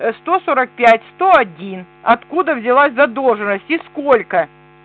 ээ сто сорок пять сто один откуда взялась задолженность и сколько